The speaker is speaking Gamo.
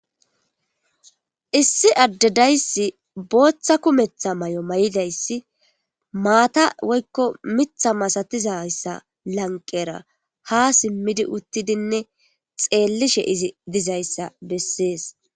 Issi adde dayssi bootha kumetha mayo mayidaysi mata woyko miththa masatizaysa lanqera haa simidi uttidinne xeellishe izi dizaysa bessees.